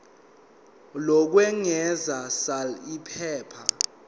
lokwengeza sal iphepha